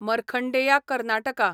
Markandeya Karnataka